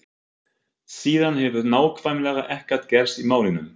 Síðan hefur nákvæmlega ekkert gerst í málinu.